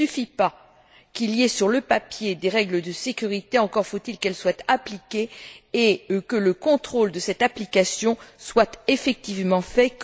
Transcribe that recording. Il ne suffit pas qu'il y ait sur le papier des règles de sécurité, encore faut il qu'elles soient appliquées et que le contrôle de cette application soit effectivement fait.